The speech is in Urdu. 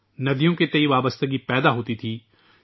ندیوں سے ربط قائم ہوتاتھا